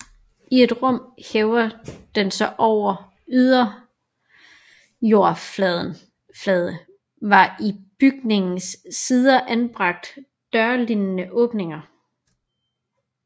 I et rum hævet over den ydre jordoverflade var i bygningens sider anbragt dørlignende åbninger